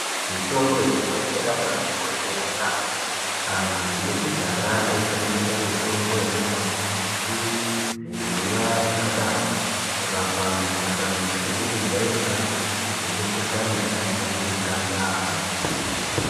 Mitombo yekudhara yakabaati koshera yamho, antu ekudhara aishandisa mitombo yaibva kumbuti, zvirimwa zvakadaroko kurapa mikuhlani isizi kujairikapi nemikohlani yakajairika yamho.